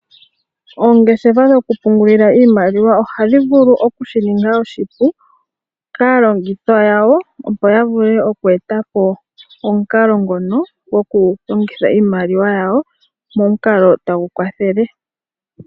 Oongeshefa dhokupungulila iimaliwa ohadhi vulu oku shi ninga oshipu kaalongithwa yawo, opo yavule oku etapo omukalo ngono gwoku longitha iimaliwa yawo, momukalo tagu kwathele.